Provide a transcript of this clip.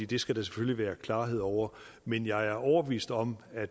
det skal der selvfølgelig være klarhed over men jeg er overbevist om at